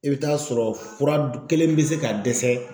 I bɛ taa sɔrɔ fura kelen bɛ se ka dɛsɛ